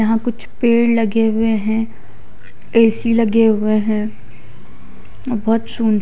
यहाँ कुछ पेड़ लगे हुए है ए_ सी लगे हुए है --